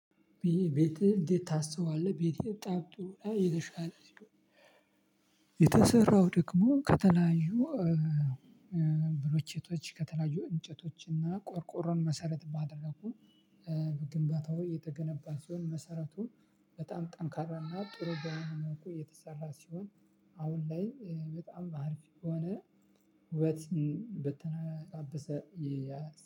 ቤትህን እንዴት ታስውባለህ? ቤቴ በጣም ጥሩ እና የተሻለ ሲሆን የተሰራው ደግሞ ከተለያዩ ብሎኬቶች ከተለያዩ እንጨቶች እና ቆርቆሮን መሰረት ባደረጉ ግንባታው የተገነባ ሲሆን መሰረቱ በጣም ጠንካራና ጥሩ በመሆን መልኩ የተሰራ ሲሆን። አሁን ላይ በጣም አሪፍ ከሆነ ውበትን በተላበሰ የ